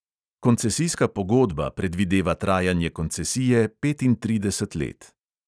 Koncesijska pogodba predvideva trajanje koncesije petintrideset let.